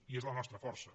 i és la nostra força